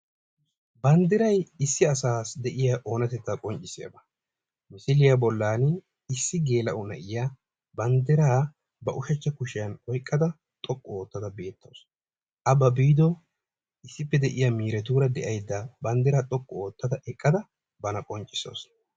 Banddiray issi asaassi diya oonatetta qonccissiyagaa, misiliya bollan issi geela'o na'iya banddiraa ushshachcha kushshiyan oyqqada xoqqu oottada beettawusu, a ba biiddo issippe de'iya miiretu banddiraa xoqqu oottada eqqada bana qonccissawusu.